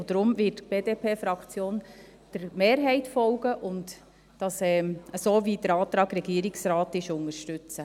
Deswegen wird die BDP-Fraktion der Mehrheit folgen und den Antrag des Regierungsrates unterstützen.